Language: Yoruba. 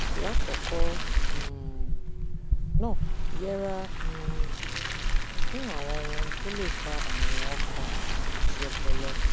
lákọọkọ um ná yẹra um fún àwọn ohun tó lè fa àrùn ọkàn àti ọpọlọ